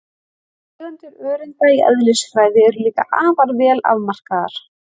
Tegundir öreinda í eðlisfræði eru líka afar vel afmarkaðar.